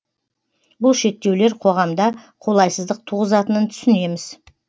бұл шектеулер қоғамда қолайсыздық туғызатынын түсінеміз